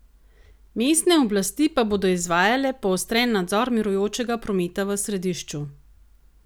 Mestne oblasti pa bodo izvajale poostren nadzor mirujočega prometa v središču.